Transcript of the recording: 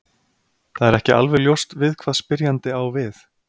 Það er ekki alveg ljóst við hvað spyrjandi á við.